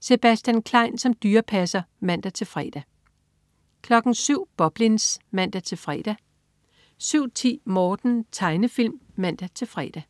Sebastian Klein som dyrepasser (man-fre) 07.00 Boblins (man-fre) 07.10 Morten. Tegnefilm (man-fre)